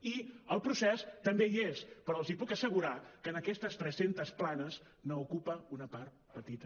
i el procés també hi és però els puc assegurar que en aquestes tres centes planes n’ocupa una part petita